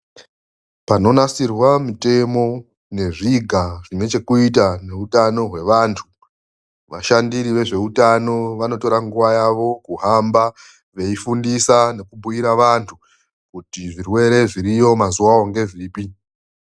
Panonasirwa mutemo nezviga zvinechekuita neutano hwevantu, vashandiri vezveutano vanotora nguva yavo kuhamba veifundisa nekubhuira vantu kuti zvirwere zviriyo mazuvawo ngezvipi.